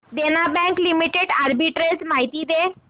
देना bank limited arbitrage माहिती दे